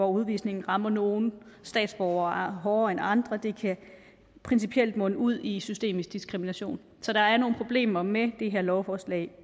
udvisning rammer nogle statsborgere hårdere end andre principielt munde ud i systemisk diskrimination så der er nogle problemer med det her lovforslag